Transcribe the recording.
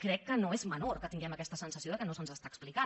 crec que no és menor que tinguem aquesta sensació que no se’ns està explicant